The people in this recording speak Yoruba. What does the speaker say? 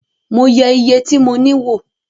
Mo yẹ iye tí mo ní wò